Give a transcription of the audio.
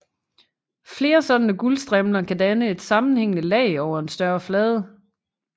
Flere sådanne guldstrimler kan danne et sammenhængende lag over en større flade